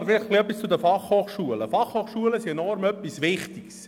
Zuerst etwas zu den Fachhochschulen (FH): Die FH sind etwas enorm Wichtiges.